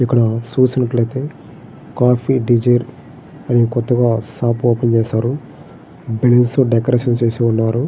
ఇక్కడ చూసినట్లయితేకాఫీ డిజర్ అని కొత్తగా షాప్ ఓపెన్ చేసారు. బిల్స్ డెకరేషన్ చేసి ఉన్నారు.